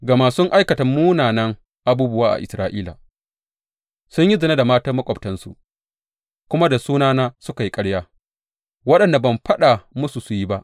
Gama sun aikata munanan abubuwa a Isra’ila; sun yi zina da matan maƙwabtansu kuma da sunana suka yi ƙarya, waɗanda ban faɗa musu su yi ba.